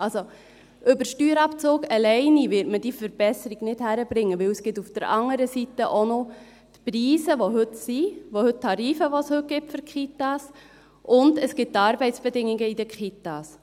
Über den Steuerabzug allein wird man diese Verbesserung nicht hinkriegen, weil es auf der anderen Seite auch noch die Preise gibt, die heute bestehen, die Tarife, die es heute für die Kitas gibt, und es gibt die Arbeitsbedingungen in den Kitas.